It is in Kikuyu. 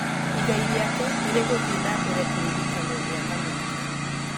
Igai rĩake nĩ rĩgũthiĩ na mbere kũririkanwo mĩaka mĩingĩ.